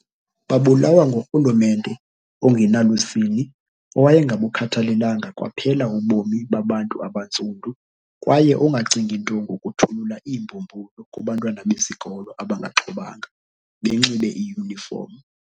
Babulawa ngurhulumente ongenalusini owayengabukhathalelanga kwaphela ubomi babantu abantsundu, kwaye ongacingi nto ngokuthulula iimbhubhulu kubantwana besikolo abangaxhobanga, benxibe iyunifomu.